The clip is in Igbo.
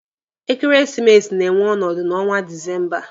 Ekeresimesi na-enwe ọnọdụ n'ọnwa Disemba.